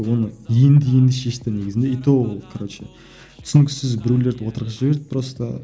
оны енді енді шешті негізінде и то короче түсініксіз біреулерді отырғызып жіберді просто